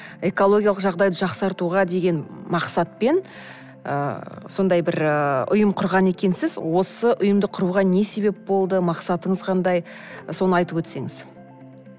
экологиялық жағдайды жақсартуға деген мақсатпен ы сондай бір ыыы ұйым құрған екенсіз осы ұйымды құруға не себеп болды мақсатыңыз қандай соны айтып өтсеңіз